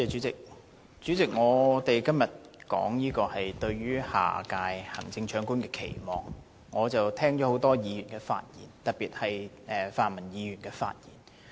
主席，我們今天討論"對下任行政長官的期望"，我聽了多位議員的發言，特別是泛民議員的發言。